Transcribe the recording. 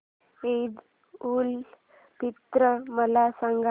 ईद उल फित्र मला सांग